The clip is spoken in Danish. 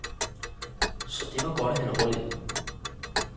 Så det var godt, at han overlevede.